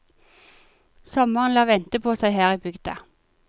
Sommeren lar vente på seg her i bygda.